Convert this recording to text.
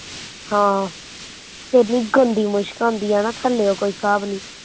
ਹਾਂ ਏਨੀ ਗੰਦੀ ਮੁਸ਼ਕ ਆਉਦੀ ਏ ਨਾ ਥੱਲਿਓ ਕੋਈ ਹਿਸਾਬ ਨੀ